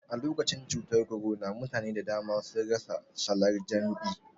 Alokacin cutar korona mutane da dama sun rasa salan jam'i